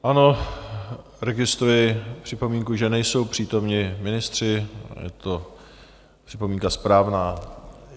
Ano, registruji připomínku, že nejsou přítomni ministři, je to připomínka správná.